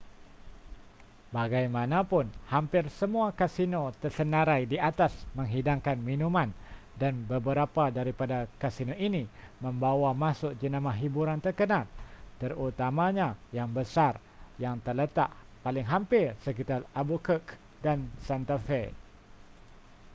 bagaimanapun hampir semua kasino tersenarai di atas menghidangkan minuman dan beberapa daripada kasino ini membawa masuk jenama hiburan terkenal terutamanya yang besar yang terletak paling hampir sekitar albuquerque dan santa fe